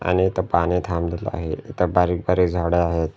आणि इथं पाणी थांबलेलं आहे इथं बारीक बारीक झाडं आहेत.